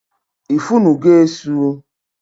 I funu go Esu?